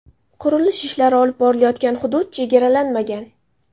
Qurilish ishlari olib borilayotgan hudud chegaralanmagan.